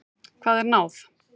Hvað er náð?